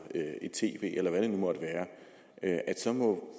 et tv eller hvad det nu måtte være så må